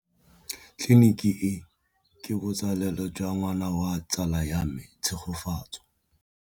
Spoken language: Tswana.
Tleliniki e, ke botsalêlô jwa ngwana wa tsala ya me Tshegofatso.